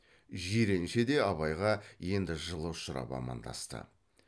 жиренше де абайға енді жылы ұшырап амандасты